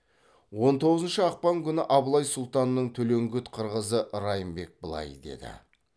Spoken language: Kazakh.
он тоғызыншы ақпан күні абылай сұлтанның төлеңгіт қырғызы райымбек былай деді